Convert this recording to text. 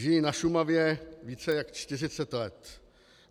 Žiji na Šumavě více jak 40 let.